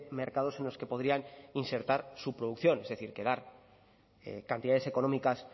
mercados en los que podrían insertar su producción es decir que dar cantidades económicas